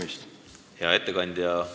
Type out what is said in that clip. Aitäh, hea ettekandja!